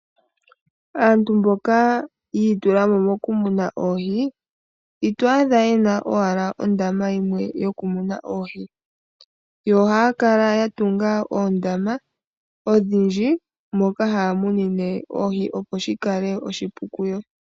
Aantu mboka ya itulamo moku muna ohi, ito adha yena owala ondama yimwe yokumuna oohi. Ohaya kala ya tunga oondama odhindji moka haya munine oohi, opo shi kale oshipu kuyo.